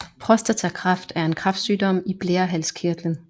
Prostatakræft er en kræftsygdom i blærehalskirtlen